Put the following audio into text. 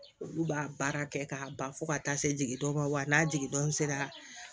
Olu b'a baara kɛ k'a ban fo ka taa se jigindon ma wa n'a jigin sera